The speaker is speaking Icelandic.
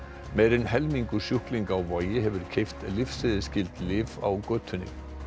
meira en helmingur sjúklinga á Vogi hefur keypt lyfseðilsskyld lyf á götunni